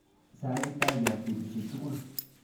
Sa Kiptayat betushiek tugul.